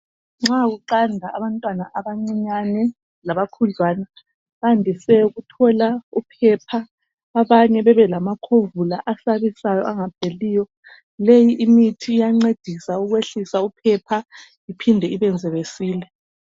Nxa kuqanda abantwana abancinyane labakhudlwana bandise ukuthola uphepha, abanye bebe lamakhovula asabisayo angapheliyo. Leyi imithi iyancedisa ukwehlisa uphepha iphinde ibenze besile.